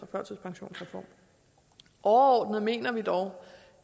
førtidspensionsreformen overordnet mener vi dog